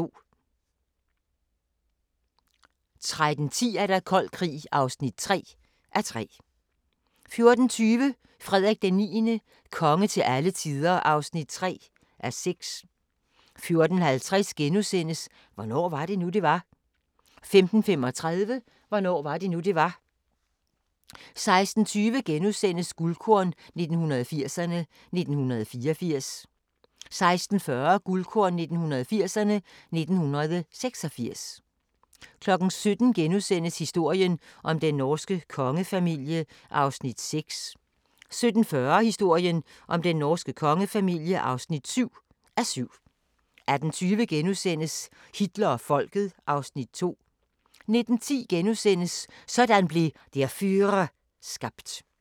13:10: Kold Krig (3:3) 14:20: Frederik IX – konge til alle tider (3:6) 14:50: Hvornår var det nu, det var? * 15:35: Hvornår var det nu, det var? 16:20: Guldkorn 1980'erne: 1984 * 16:40: Guldkorn 1980'erne: 1986 17:00: Historien om den norske kongefamilie (6:7)* 17:40: Historien om den norske kongefamilie (7:7) 18:20: Hitler og Folket (Afs. 2)* 19:10: Sådan blev Der Führer skabt *